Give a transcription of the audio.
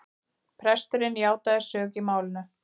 Presturinn játaði sök í málinu